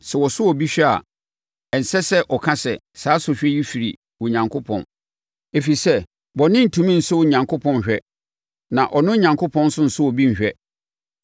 Sɛ wɔsɔ obi hwɛ a, ɛnsɛ sɛ ɔka sɛ, “Saa sɔhwɛ yi firi Onyankopɔn.” Ɛfiri sɛ, bɔne rentumi nsɔ Onyankopɔn nhwɛ, na ɔno Onyankopɔn nso nsɔ obi nhwɛ.